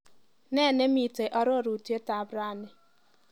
Nee nemiite arorutab rani?